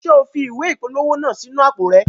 Ṣe o fi ìwé ìpolówó naa sí inú àpò rẹ?